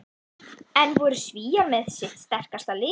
En voru Svíar með sitt sterkasta lið?